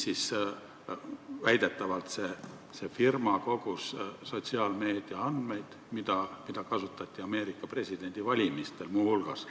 Väidetavalt see firma kogus sotsiaalmeedia andmeid, mida kasutati muu hulgas Ameerika presidendi valimistel.